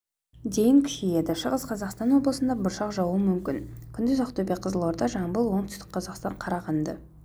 дейін күшейеді шығыс қазақстан облысында бұршақ жаууы мүмкін күндіз ақтөбе қызылорда жамбыл оңтүстік қазақстан қарағанды